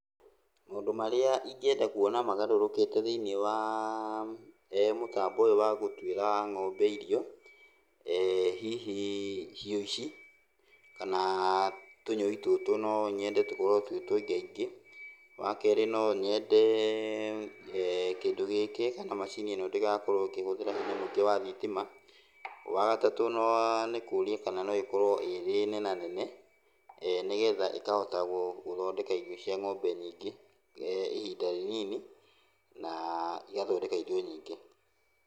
Maũndũ marĩa ingĩenda kuona magarũrũkĩte thĩiniĩ waa mũtambo ũyũ wa gũtuĩra ng'ombe irio, hihi hiũ ici, kana tũnyũi tũtũ no nyende tũkorwo twĩ tũingaingĩ. Wakerĩ no nyende kĩndũ gĩkĩ kana macini ĩno ndĩgakorwo ĩkĩhũthĩra hinya mũingĩ wa thitima. Wagatatũ nĩ kũria kana no ĩkorwo ĩrĩ nenanene, nĩgetha ĩkahota gũthondeka irio cia ng'ombe nyingĩ, ihinda rĩnini, na igathondeka irio nyingĩ.